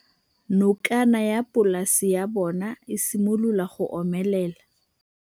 Nokana ya polase ya bona, e simolola go omelela.